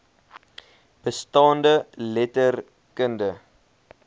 bestaande letter kundige